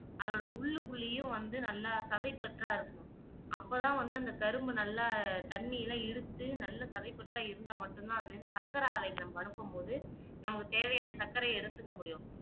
அதோட உள்ளுக்குள்ளேயே வந்தும் நல்லா சதைபற்றா இருக்கனும் அப்போ தான் வந்து அந்த கரும்பு நல்லா தண்ணியெல்லாம் இழுத்து நல்லா சதை பற்றா இருந்தா மட்டும்தான் அது சக்கர அனுப்பும் பொது நமக்கு தேவையான சக்கரை எடுத்துக்க முடியும்